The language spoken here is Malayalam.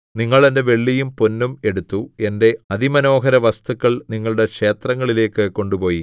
നിങ്ങൾ എന്റെ വെള്ളിയും പൊന്നും എടുത്തു എന്റെ അതിമനോഹരവസ്തുക്കൾ നിങ്ങളുടെ ക്ഷേത്രങ്ങളിലേക്കു കൊണ്ടുപോയി